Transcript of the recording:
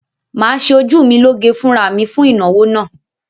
Mà á ṣe ojú mi lọ gé fúnra mi fún ìnáwó náà.